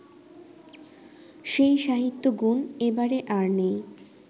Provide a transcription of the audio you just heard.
সেই সাহিত্যগুণ এবারে আর নেই